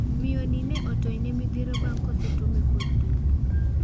Miyo ni ne otony ne midhiero bang' kosetume kod dubu.